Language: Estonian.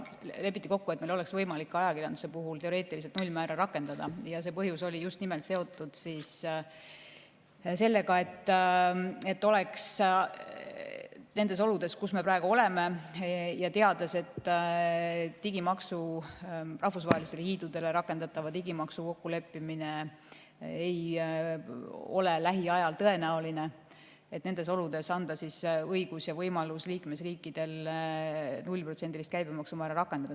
Lepiti kokku, et meil oleks võimalik ajakirjanduse puhul teoreetiliselt nullmäära rakendada, ning põhjus oli seotud just nimelt sellega, et nendes oludes, kus me praegu oleme, ja teades, et rahvusvahelistele hiidudele rakendatava digimaksu kokkuleppimine ei ole lähiajal tõenäoline, oleks liikmesriikidel õigus ja võimalus rakendada 0%‑list käibemaksumäära.